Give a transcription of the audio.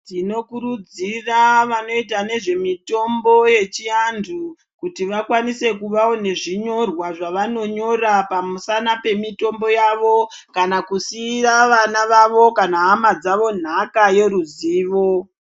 Tinokurudzira vanoita nezvemitombo yechiantu kuti vakwanise kunge nezvinyirwa zvavanonyora pakange nemitombo yawo kuti vazosira vana vavo nhaka yeruzivo.